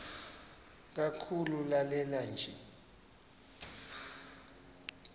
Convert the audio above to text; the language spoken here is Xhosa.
kakhulu lanela nje